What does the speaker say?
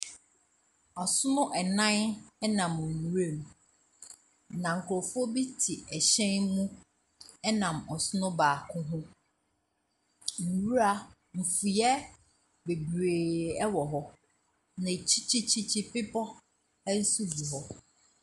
Asono nnan nam nwuram, na nkurɔfoɔ bi te hyɛn mu nam ɔsono baako ho. Nwura mfuiɛ bebtee wɔ hɔ. Na akyirikyirikyirikyiri, bebɔ nso gu hɔ.